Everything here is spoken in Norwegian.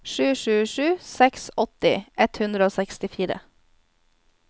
sju sju sju seks åtti ett hundre og sekstifire